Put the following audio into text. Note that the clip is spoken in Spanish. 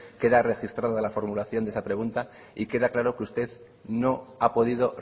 queda registrada la formulación de esa pregunta y queda claro que usted no ha podido